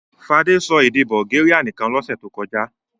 Fadé sọ èdè Bulgaria nìkan lọ́sẹ̀ tó kọjá?